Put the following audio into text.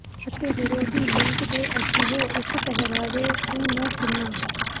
ਅਤੇ ਵਿਰੋਧੀ ਲਿੰਗ ਦੇ ਅਜਿਹੇ ਇੱਕ ਪਹਿਰਾਵੇ ਓ ਨੂੰ ਕਿੰਨਾ